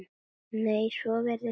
Nei, svo virðist ekki vera.